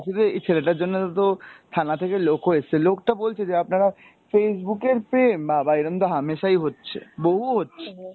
তো এই ছেলেটার জন্যে তো থানা থেকে লোকও এসছে, লোকটা বলছে যে আপনারা Facebook এর প্রেম বাবা এরকম তো হামেসাই হচ্ছে, বহু হচ্ছে।